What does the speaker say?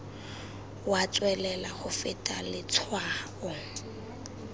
wa tswelela go feta letshwao